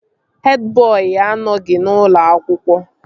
Hed bọị anọghị n'ụlọ akwụkwọ